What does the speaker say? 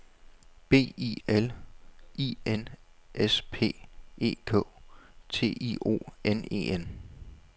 B I L I N S P E K T I O N E N